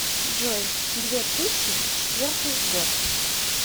джой две тыщи четвертый год